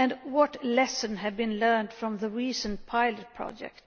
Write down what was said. What lessons have been learned from the recent pilot project?